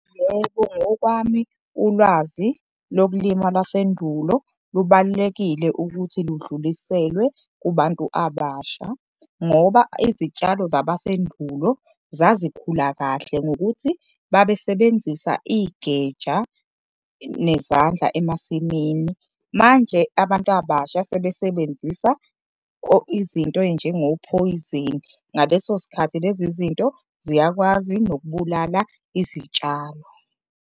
Yebo, ngokwami ulwazi lokulima lwasendulo lubalulekile ukuthi ludluliselwe kubantu abasha ngoba izitshalo zabasendulo zazikhula kahle ngokuthi babesebenzisa igeja nezandla emasimini. Manje abantu abasha sebesebenzisa izinto ey'njengophoyizeni. Ngaleso sikhathi lezi zinto ziyakwazi nokubulala izitshalo.